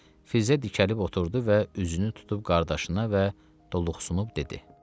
Fizzə dikəlib oturdu və üzünü tutub qardaşına və duluqsunub dedi.